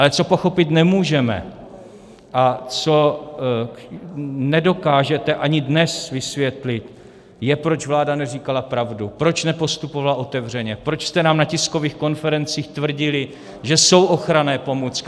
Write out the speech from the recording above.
Ale co pochopit nemůžeme a co nedokážete ani dnes vysvětlit, je, proč vláda neříkala pravdu, proč nepostupovala otevřeně, proč jste nám na tiskových konferencích tvrdili, že jsou ochranné pomůcky.